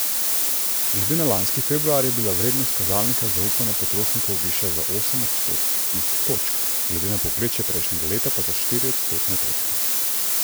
Glede na lanski februar je bila vrednost kazalnika zaupanja potrošnikov višja za osem odstotnih točk, glede na povprečje prejšnjega leta pa za štiri odstotne točke.